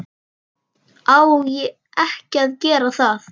Á ekki að gera það.